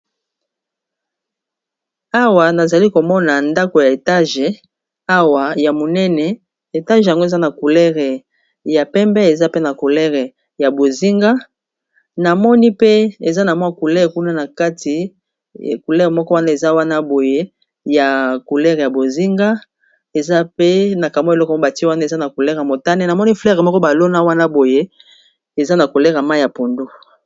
awa nazali komona ndako ya etage awa ya monene etage yango eza na coulere ya pembe eza pe na coulere ya bozinga namoni pe eza na mwa coulere kuna na kati koulere moko wana eza wana boye ya coulere ya bozinga eza pe na kamo eloko mobati wana eza na coulere motane namoni flaire moko balona wana boye eza na kulere ma ya pondo